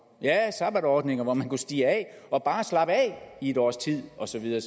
sabbatordninger hvor man kunne stige af og bare slappe af i et års tid og så videre